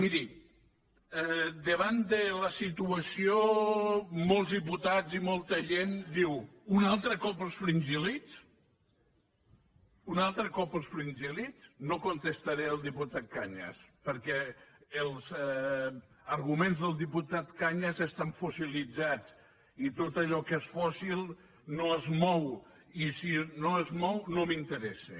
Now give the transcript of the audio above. miri davant de la situació molts diputats i molta gent diu un altre cop els fringíl·lids un altre cop els fringíl·lids no contestaré al diputat cañas perquè els arguments del diputat cañas estan fossilitzats i tot allò que és fòssil no es mou i si no es mou no m’interessa